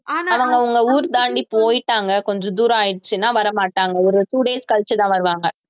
அவங்க அவங்க ஊர் தாண்டி போயிட்டாங்க கொஞ்ச தூரம் ஆயிடுச்சுன்னா வரமாட்டாங்க ஒரு two days கழிச்சுதான் வருவாங்க